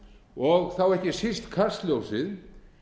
og þá ekki síst kastljósið